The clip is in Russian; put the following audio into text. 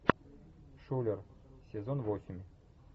шулер сезон восемь